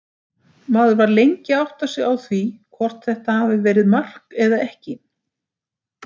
Maður var lengi að átta sig á því hvort þetta hafi verið mark eða ekki.